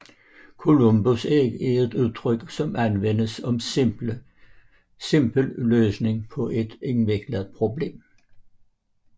Columbusæg er et udtryk som anvendes om en simpel løsning på et indviklet problem